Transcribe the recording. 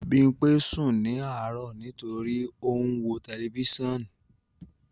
Bimpe sun ni aro nitori o n wo telifisiọnu